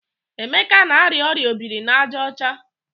Emeka na-arịa ọrịa obiri n'aja ọcha.